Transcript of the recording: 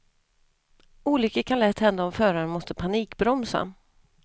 Olyckor kan lätt hända om föraren måste panikbromsa.